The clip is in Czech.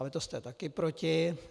Ale to jste taky proti.